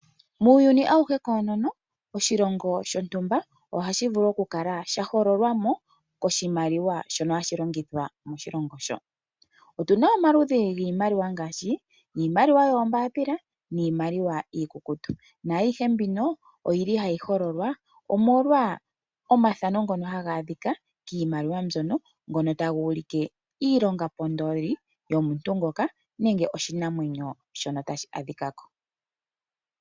Muuyuni awuhe koonono oshilongo shontumba ohashi vulu oku kala shahogolwamo koshimaliwa shono hashi longithwa moshilongo sho. Otuna omaludhi giimaliwa ngaashi iimaliwa yoombapila niimaliwa iikukutu nayihe mbino oyili hayi hololwa omolwa omathano ngono haga adhika kiimaliwa mbyono ngono ngono tagu ulike iilonga pondodhi yomuntu ngoka nenge oshinamwenyo shono tashi adhika ko.